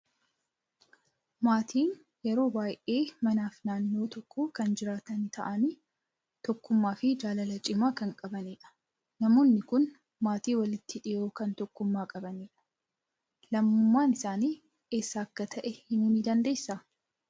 Maatiin yeroo baay'ee manaa fi naannoo tokko kan jiraatan ta'anii, tokkummaa fi jaalala cimaa kan qabanidha. Namoonni kun maatii walitti dhiyoo kan tokkummaa qabanidha. Lammummaan isaanii eeessa akka ta'e himuu ni dandeessaa?